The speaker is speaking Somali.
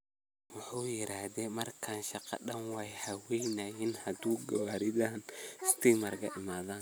Muxu yiradex markan shaqa daan waay halaweysa hadi gawaridhan istimarka iimadhen.